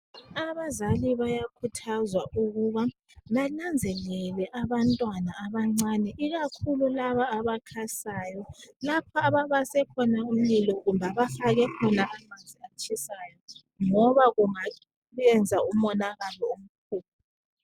Abazali bayakhuthazwa ukuba bananzelele abantwana abancane ikakhulu laba abakhasayo lapha ababase khona umlilo kumbe abafake khona amanzi atshisayo ngoba kungayenza umonakalo omkhulu.